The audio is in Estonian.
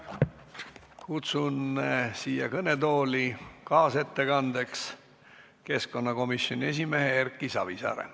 Kutsun kaasettekandjaks kõnetooli keskkonnakomisjoni esimehe Erki Savisaare.